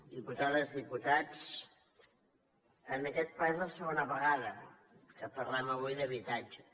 diputades diputats en aquest ple és la segona vegada que parlem avui d’habitatge